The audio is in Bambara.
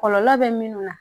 Kɔlɔlɔ bɛ minnu na